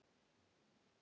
Mál og menning